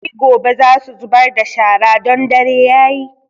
Sai gobe za su zubar da shara don dare yayi